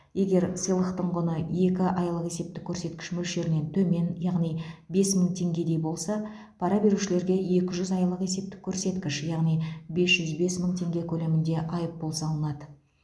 егер сыйлықтың құны екі айлық есептік көрсеткіш мөлшерінен төмен яғни бес мың теңгедей болса пара берушіге екі жүз айлық есептік көрсеткіш яғни бес жүз бес мың теңге көлемінде айыппұл салынады